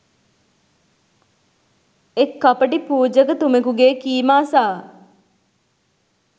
එක් කපටි පූජකතුමෙකුගේ කීම අසා